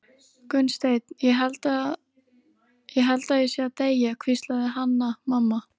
Gunnsteinn, ég held ég sé að deyja, hvíslaði Hanna-Mamma.